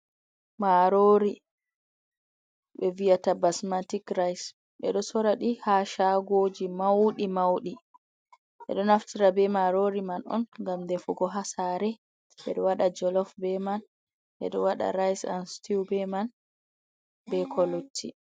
Marori be vi'ata ɓasmantic rise ɓe ɗo soradi ha shagoji maudi maudi ɓe ɗo naftira be marori man on ngam ɗefugo ha sare ɓe ɗo wada jolof be man ɓe ɗo wada rise an sitew be man be ko lutti.